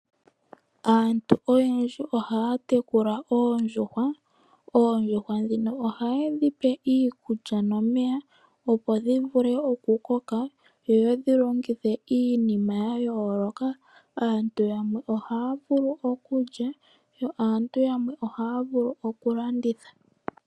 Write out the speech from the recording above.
Aantu oyendji oha tekula oondjuhwa, oondjuhwa dhino oha yedhipe iikulya nomeya opo dhivule okukoka yo yedhilongithe iinima yayoloka, aantu yamwe oha vulu okulya yo aantu yamwe oha vulu okulanditha.